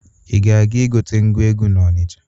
Ị ga-aga igote ngwa egwu n'Ọnicha.